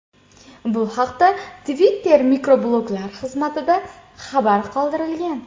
Bu haqda Twitter mikrobloglar xizmatida xabar qoldirilgan .